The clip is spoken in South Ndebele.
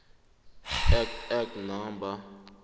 act act no